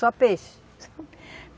Só peixe?